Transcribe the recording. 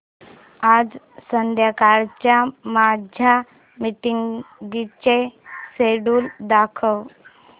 आज संध्याकाळच्या माझ्या मीटिंग्सचे शेड्यूल दाखव